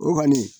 O kɔni